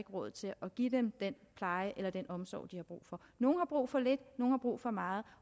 råd til at give dem den pleje eller den omsorg de har brug for nogle har brug for lidt nogle har brug for meget